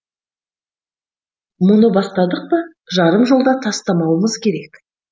мұны бастадық па жарым жолда тастамауымыз керек